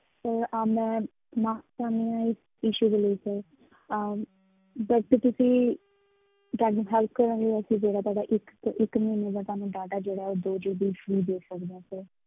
Sir ਅਹ ਮੈਂ ਮਾਫ਼ੀ ਚਾਹੁੰਦੀ ਹਾਂ ਇਸ issue ਦੇ ਲਈ sir ਅਮ but ਤੁਸੀਂ ਤੁਹਾਡੀ help ਕਰਨ ਦੇ ਵਾਸਤੇ ਜਿਹੜਾ ਤੁਹਾਡਾ ਇੱਕ ਤੇ ਇੱਕ ਮਹੀਨੇ ਦਾ ਤੁਹਾਨੂੰ data ਜਿਹੜਾ ਉਹ ਦੋ GB free ਦੇ ਸਕਦੇ ਹਾਂ sir